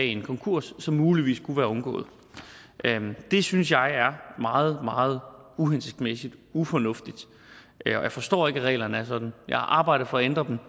en konkurs som muligvis kunne være undgået det synes jeg er meget meget uhensigtsmæssigt ufornuftigt og jeg forstår ikke at reglerne er sådan jeg har arbejdet for at ændre dem